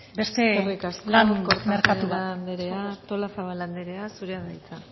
beste lan merkatu bat eskerrik asko kortajarena anderea artolazabal anderea zurea da hitza